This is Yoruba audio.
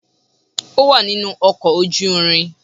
Ó wà nínú ọkọ̀ ojú irin.